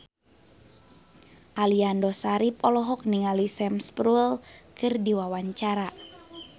Aliando Syarif olohok ningali Sam Spruell keur diwawancara